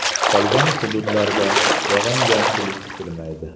Qolgan hududlarda yog‘ingarchilik kutilmaydi.